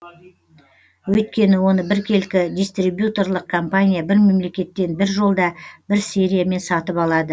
өйткені оны біркелкі дистрибьюторлық компания бір мемлекеттен бір жолда бір сериямен сатып алады